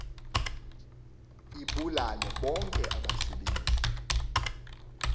ibulale bonke abasebenzi